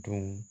Dun